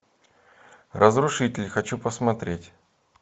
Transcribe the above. разрушитель хочу посмотреть